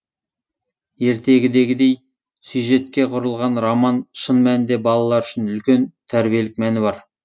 ертегідегідей сюжетке құрылған роман шын мәнінде балалар үшін үлкен тәрбиелік мәні бар